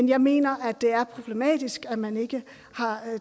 jeg mener det er problematisk at man ikke har